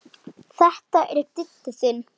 Þetta er Diddi þinn.